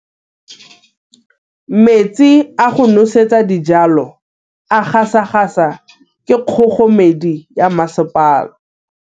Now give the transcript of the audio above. Metsi a go nosetsa dijalo a gasa gasa ke kgogomedi ya masepala.